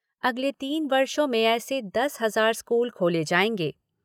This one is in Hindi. अगले तीन वर्षों में ऐसे दस हज़ार स्कूल खोले जाएंगे।